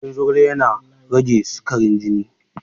Ganyen zogala yana rage sikarin jini.